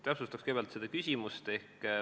Täpsustan kõigepealt küsimust.